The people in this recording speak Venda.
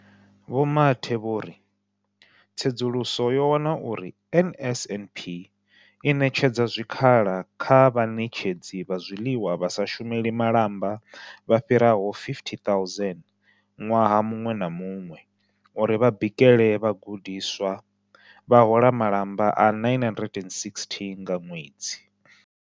Vho Mathe vho ri, Tsedzuluso yo wana uri NSNP i ṋetshedza zwikhala kha vhaṋetshedzi vha zwiḽiwa vha sa shumeli malamba vha fhiraho 50 000 ṅwaha muṅwe na muṅwe uri vha bikele vhagudiswa, vha hola malamba a R960 nga ṅwedzi.